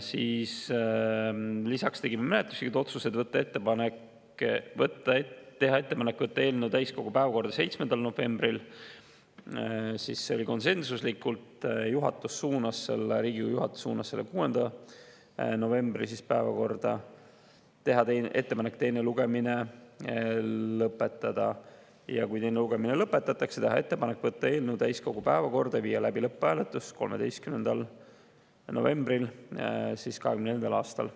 Lisaks tegime menetluslikud otsused: teha ettepanek võtta eelnõu täiskogu päevakorda 7. novembril, see oli konsensuslik otsus, Riigikogu juhatus suunas selle 6. novembri päevakorda; teha ettepanek teine lugemine lõpetada ja kui teine lugemine lõpetatakse, teha ettepanek võtta eelnõu täiskogu päevakorda ja viia läbi lõpphääletus 13. novembril 2024. aastal.